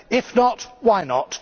If not, why not?